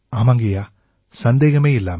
ஆமாங்கய்யா சந்தேகமே இல்லாம